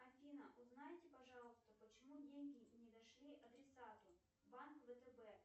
афина узнайте пожалуйста почему деньги не дошли адресату банк втб